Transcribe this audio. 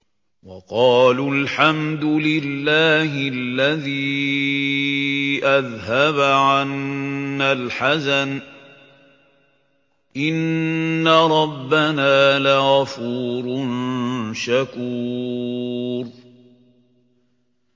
وَقَالُوا الْحَمْدُ لِلَّهِ الَّذِي أَذْهَبَ عَنَّا الْحَزَنَ ۖ إِنَّ رَبَّنَا لَغَفُورٌ شَكُورٌ